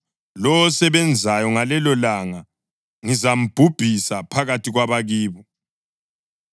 Lowo osebenzayo ngalelolanga ngizambhubhisa phakathi kwabakibo.